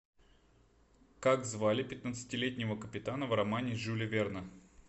как звали пятнадцатилетнего капитана в романе жюля верна